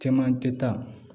Cɛman tɛ taa